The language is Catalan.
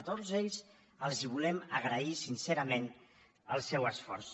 a tots ells els volem agrair sincerament el seu esforç